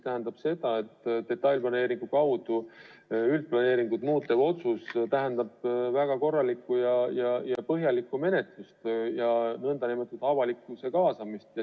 Aga detailplaneeringu kaudu üldplaneeringut muutev otsus tähendab väga korralikku ja põhjalikku menetlust ja ka avalikkuse kaasamist.